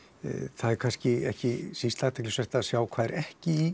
það er kannski ekki síst athyglisvert að sjá hvað er ekki í